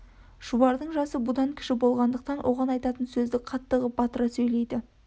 шұбардың жасы бұдан кіші болғандықтан оған айтатын сөзді қатты ғып батыра сөйлейді